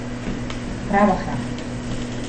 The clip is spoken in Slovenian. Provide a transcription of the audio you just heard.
Prava hrana.